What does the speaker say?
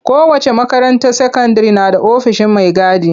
Kowace makaranta sakandire na da ofishin mai gadi.